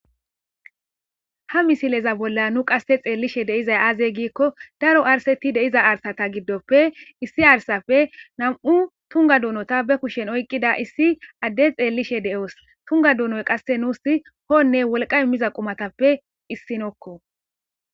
ha misileza bolla nu qasse xeellishe de'izay aazey giikko daro arseti deiza arsata giddoppe issi arsape nam7u tunga duunota be kushen oyqqida issi adde xeellishe de7os tunga duunoy qasse nuus hoonne wolqay miza qumatappe issinokko